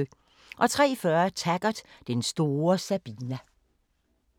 03:40: Taggart: Den store Sabina